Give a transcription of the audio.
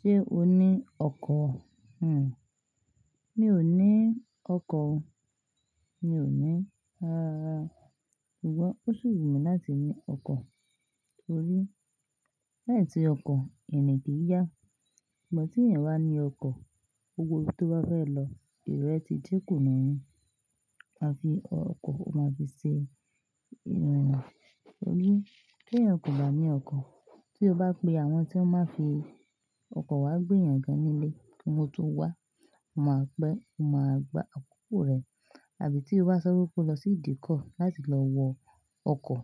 Ṣé o ní ọkọ̀? Hmm, mi ò ní ọkọ̀ o. Mi ò ní. Rárára ṣùgbọ́n ó ṣi wu mi láti ní ọkọ̀ torí, láì sí ọkọ̀, irìn o kì n yá. Ṣùgbọ́n tí ẹ̀yan bá ní ọkọ̀, gbogbo ibi to bá fẹ́ lọ, èrò rẹ ti dẹ́kun náà. A fi ọkọ̀, o máa fi ṣe èrò rẹ. Torí, tí ẹ̀yan kò bá ní ọkọ̀, tí o bá pe àwọn tí wọn máa ń fi ọkọ̀ wá gbé èèyàn ga nílé kí wọn tó wá, o máa pé, o máa gbá àkókò rẹ. Àbí tí o bá so wípé o lọ sí ìdíkọ̀ láti lọ wọ ọkọ̀,